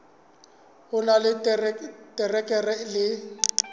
o na le diterekere le